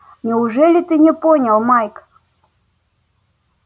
неужели ты не понял майк